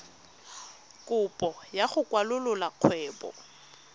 kopo ya go kwalolola kgwebo